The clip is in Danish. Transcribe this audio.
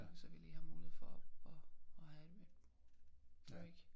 Så vi lige har mulighed for og og have et break